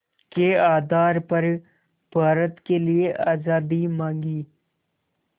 के आधार पर भारत के लिए आज़ादी मांगी